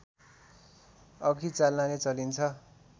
अघि चाल्नाले चालिन्छ